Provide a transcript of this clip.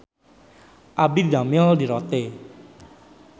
Abdi didamel di Rote